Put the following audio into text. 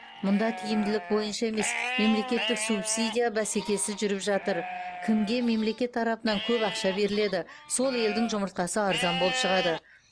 мұнда тиімділік бойынша емес мемлекеттік субсидия бәсекесі жүріп жатыр кімге мемлекет тарапынан көп ақша беріледі сол елдің жұмыртқасы арзан болып шығады